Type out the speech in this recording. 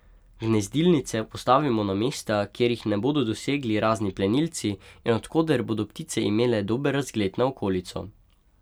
Gnezdilnice postavimo na mesta, kjer jih ne bodo dosegli razni plenilci in od koder bodo ptice imele dober razgled na okolico.